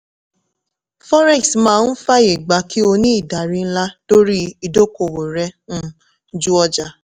forex máa ń fàyè gbà kí o ní ìdarí ńlá lórí ìdókòwò rẹ um ju ọjà.